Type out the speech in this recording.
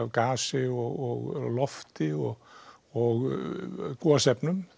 gasi og lofti og og gosefnum